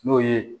N'o ye